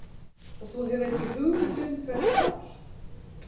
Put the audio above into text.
Og þú hefur ekki hugmynd um hver það var?